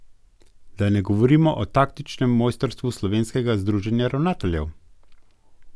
Da ne govorimo o taktičnem mojstrstvu Slovenskega združenja ravnateljev.